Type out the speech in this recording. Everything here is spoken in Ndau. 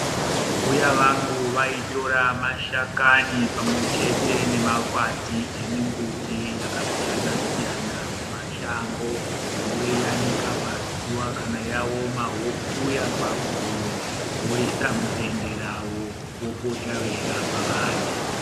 Mbuya vangu vaitora mashakani pamwechete ne makwati emimbuti yakasiyanasiyana mumashango voiyanika pazuwa kana yaoma vokuya paguyo voisa mudende ravo vopota veirapa vantu.